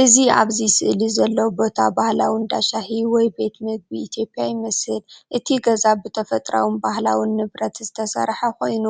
እዚ ኣብዚ ስእሊ ዘሎ ቦታ ባህላዊ እንዳ ሻሂ ወይ ቤት ምግቢ ኢትዮጵያ ይመስል። እቲ ገዛ ብተፈጥሮኣውን ባህላውን ንብረት ዝተሰርሐ ኮይኑ